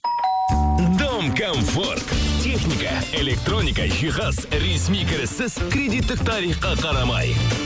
дом комфорт техника электроника жихаз ресми кіріссіз кредиттік тарифқа қарамай